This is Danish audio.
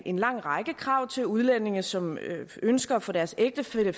en lang række krav til udlændinge som ønsker at få deres ægtefælle